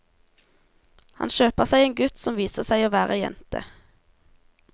Han kjøper seg en gutt som viser seg å være jente.